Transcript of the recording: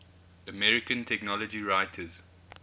american technology writers